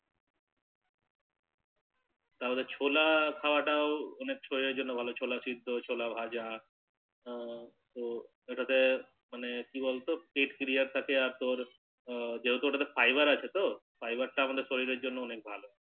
তাবাদে ছোলা খাওয়া টাও অনেক শরীরের জন্য ভালো যেমন ছোলা সেদ্ধ ছোলা ভাজা হু হু ওটাতে মানে কি বলতো কিটক্ৰিয়া থাকে আর তোর যেহতু তে ওটা ফাইবার আছে তো ফাইবার টা আমাদের শরীরের জন্য অনেক ভালো